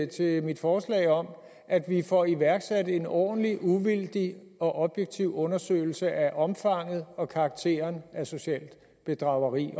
til mit forslag om at vi får iværksat en ordentlig uvildig og objektiv undersøgelse af omfanget og karakteren af socialt bedrageri